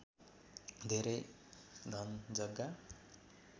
धेरै धन जग्गा